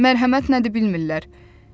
Mərhəmət nədi bilmirlər.